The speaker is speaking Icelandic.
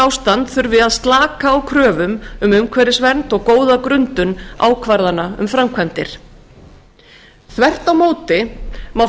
ástand þurfi að slaka á kröfum um umhverfisvernd og góða grundun ákvarðana um framkvæmdir þvert á móti má